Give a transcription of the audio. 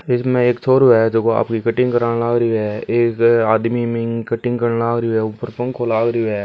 इसमें एक छोरो है जो को आपकी कटिंग कराण लाग रियो है एक आदमी बिन्की कटिंग कारन लागरियो है ऊपर पंखो लागरियो है।